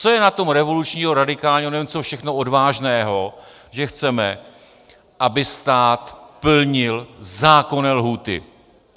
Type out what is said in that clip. Co je na tom revolučního, radikálního, nevím, co všechno, odvážného, že chceme, aby stát plnil zákonné lhůty?